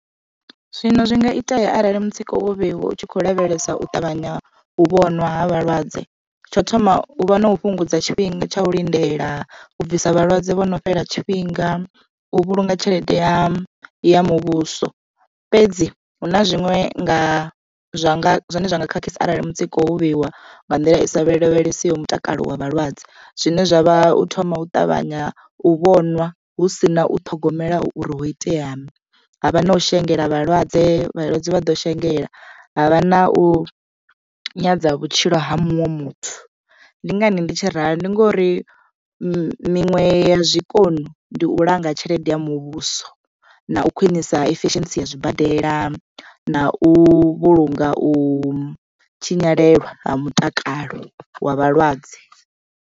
Zwino zwi nga itea arali mutsiko wo vheiwa utshi kho lavhelesa u ṱavhanya u vhonwa ha vhalwadze tsho thoma u vha na u fhungudza tshifhinga tsha u lindela, u bvisa vhalwadze vho no fhela tshifhinga, u vhulunga tshelede ya ya muvhuso. Fhedzi hu na zwiṅwe nga zwa nga zwine zwa nga khakhisa arali mutsiko wo vheiwa nga nḓila i sa vhe lavhelesiwo mutakalo wa vhalwadze zwine zwavha u thoma u ṱavhanya u vhonwa hu si na u ṱhogomela uri ho iteani. Havha na u shengela vhalwadze vhalwadze vha ḓo shengela havha na u nyadza vhutshilo ha muṅwe muthu ndi ngani ndi tshi ralo ndi ngori miṅwe ya zwikoni ndi u langa tshelede ya muvhuso na u khwinisa eficiency ya zwibadela na u vhulunga u tshinyalelwa ha mutakalo wa vhalwadze.